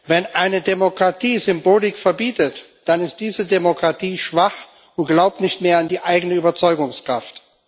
Wenn eine Demokratie Symbolik verbietet, dann ist diese Demokratie schwach und glaubt nicht mehr an die eigene Überzeugungskraft.